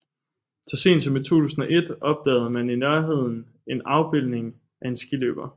Så sent som i 2001 opdagede man i nærheden en afbildning af en skiløber